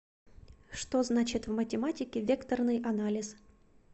что значит в математике векторный анализ